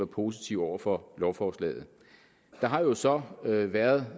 positiv over for lovforslaget der har jo så været